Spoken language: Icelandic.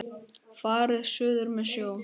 Farið suður með sjó.